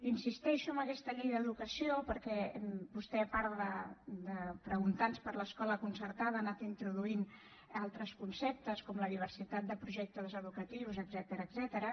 insisteixo en aquesta llei d’educació perquè vostè a part de preguntar nos per l’escola concertada ha anat introduint altres conceptes com la diversitat de projectes educatius etcètera